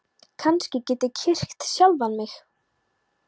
Kannski get ég kyrkt sjálfan mig?